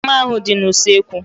Mma ahu dị n'usekwu